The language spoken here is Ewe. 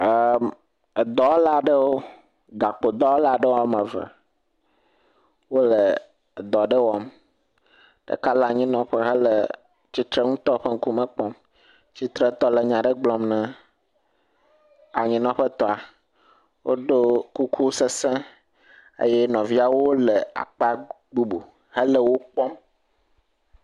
E edɔwɔla aɖewo. Gakpodɔwɔla aɖewo wɔme eve wo edɔ aɖe wɔm. Ɖeka le anyinɔƒe hele tsitrenutɔ ƒe ŋkume kpɔm. Tsitretɔ le nya aɖe gblɔm na anyinɔƒetɔa. Woɖo kuku sese eye nɔviawo le akpa bubu hele wo kpɔm.